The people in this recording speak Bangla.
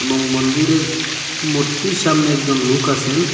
এবং মন্দিরের মূর্তির সামনে একজন লোক আছেন।